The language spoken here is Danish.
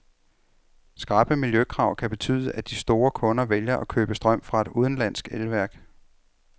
Skrappe miljøkrav kan betyde, at de store kunder vælger at købe strøm fra et udenlandsk elværk.